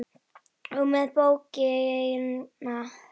og með bókina!